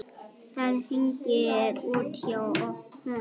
Það hringir út hjá honum.